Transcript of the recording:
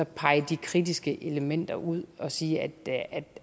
pege de kritiske elementer ud og sige at